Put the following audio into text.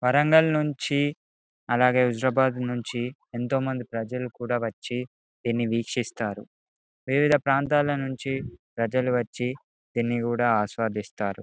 వరంగల్ నుంచి అలాగే విశాఖపట్నం నుంచి ఎంతో మంది ప్రజలు కూడా వచ్చి దీని వీక్షిస్తారు వివిధ ప్రాంతాల నుంచి ప్రజలు వచ్చి దీనిని కూడా ఆస్వాదిస్తారు.